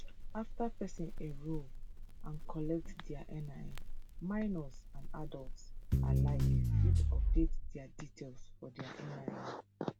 afta pesin enrol and collect dia nin minors and adults alike fit update dia details for dia nin